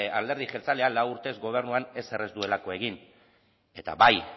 alderdi jeltzaleak lau urtez gobernuan ezer ez duelako egin eta bai